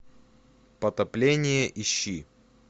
потопление ищи